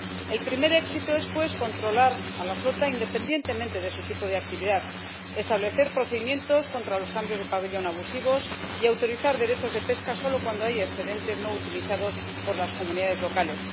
El primer éxito es, pues, controlar a la flota independientemente de su tipo de actividad, establecer procedimientos contra los cambios de pabellón abusivos y autorizar derechos de pesca solo cuando hay excedentes no utilizados por las comunidades locales.